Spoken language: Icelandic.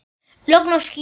Logn og skýjað.